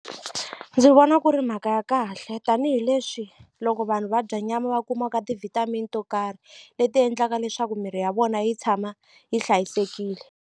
Ndzi vona ku ri mhaka ya kahle tanihileswi loko vanhu va dya nyama va kumaka ti-vitamin to karhi leti endlaka leswaku mirhi ya vona yi tshama yi hlayisekile.